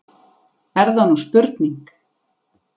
Er það nú spurning!